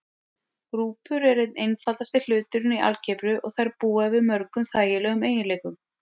Grúpur eru einn einfaldasti hluturinn í algebru og þær búa yfir mörgum þægilegum eiginleikum.